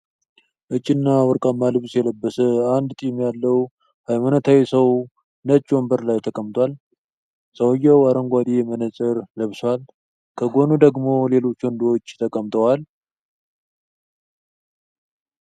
ነጭና ወርቃማ ልብስ የለበሰ አንድ ጢም ያለው ሃይማኖታዊ ሰው ነጭ ወንበር ላይ ተቀምጧል። ሰውዬው አረንጓዴ መነጽር ለብሷል፤ ከጎኑ ደግሞ ሌሎች ወንዶች ተቀምጠዋል።